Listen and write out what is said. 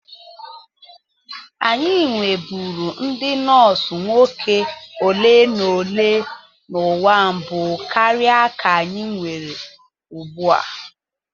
Anyị nweburu ndị nọọsụ nwoke ole na ole n'ụwa mbụ karịa ka anyị nwere ugbu a.